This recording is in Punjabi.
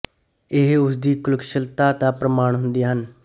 ਇਹ ਉਸ ਦੀ ਕਲਾਕੁਸ਼ਲਤਾ ਦਾ ਪ੍ਰਮਾਣ ਹੁੰਦੀਆਂ ਸਨ